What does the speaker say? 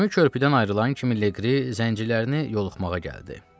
Gəmi körpüdən ayrılan kimi Legri zəncilərini yoxlamağa gəldi.